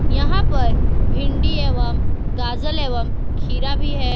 यहां पर भिंडी एवं गाजर एवं खीरा भी है।